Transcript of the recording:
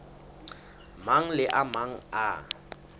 mang le a mang a